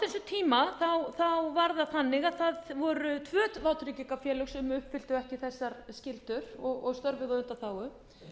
á þessum tíma var það þannig að það voru tvö vátryggingafélög sem uppfylltu ekki þessar skyldur og störfuðu á undanþágu svo einkennilega vildi til að